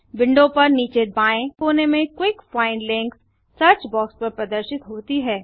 window पर नीचे बाएँ कोने में quick find links search box पर प्रदर्शित होती है